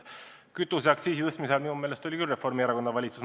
Kütuseaktsiisi tõstmisel minu meelest oli küll Reformierakonna valitsus mängus.